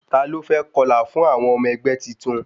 Ta ló fẹ́ kọlà fún àwọn ọmọ ẹgbẹ́ titun?